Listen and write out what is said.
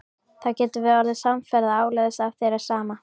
Þá getum við orðið samferða áleiðis ef þér er sama.